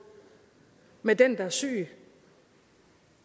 med den der er syg